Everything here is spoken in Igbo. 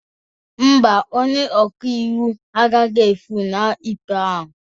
Mba, onye ọka iwu agaghị efunahụ ikpe ahụ